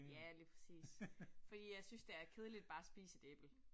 Ja lige præcis. Fordi jeg synes det er kedeligt bare at spise et æble